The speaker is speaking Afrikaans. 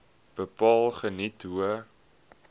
bepaal geniet hoë